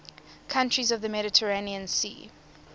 countries of the mediterranean sea